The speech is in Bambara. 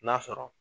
N'a sɔrɔ